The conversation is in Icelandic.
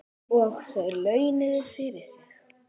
Og það launaði fyrir sig.